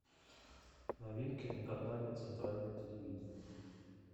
новинки на канале центральное телевидение